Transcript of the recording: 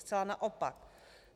Zcela naopak.